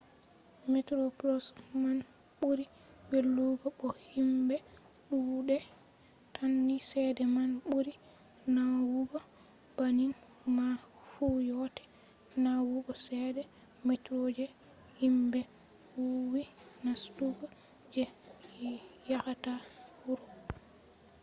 metroplos man ɓuri welugo bo himɓe ɗuuɗai tan ni cede man ɓuri nawugo banning man fu yottai nawugo cede metro je himɓe woowi nastugo je yahata urop